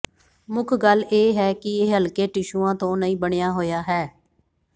ਮੁੱਖ ਗੱਲ ਇਹ ਹੈ ਕਿ ਇਹ ਹਲਕੇ ਟਿਸ਼ੂਆਂ ਤੋਂ ਨਹੀਂ ਬਣਿਆ ਹੋਇਆ ਹੈ